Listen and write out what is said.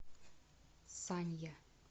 санья